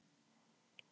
MARK DÆMT AF.